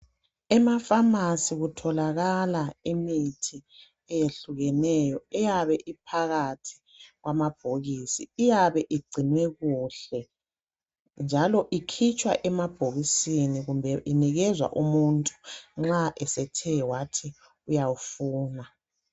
EmaFamasi kutholakala imithi eyehlukeneyo eyabe iphakathi kwamabhokisi. Iyabe igcinwe kuhle njalo ikhitshwa emabhokisini njalo inikezwa umuntu nxa esethe wathi uyawufuna.